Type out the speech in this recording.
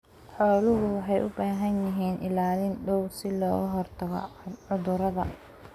Xooluhu waxay u baahan yihiin ilaalin dhow si looga hortago cudurrada.